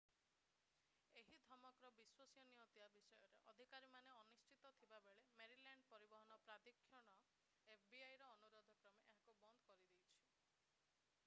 ଏହି ଧମକର ବିଶ୍ୱସନୀୟତା ବିଷୟରେ ଅଧିକାରୀମାନେ ଅନିଶ୍ଚିତ ଥିବାବେଳେ ମେରିଲ୍ୟାଣ୍ଡ ପରିବହନ ପ୍ରାଧିକରଣ fbi ର ଅନୁରୋଧ କ୍ରମେ ଏହାକୁ ବନ୍ଦ କରିଦେଇଛି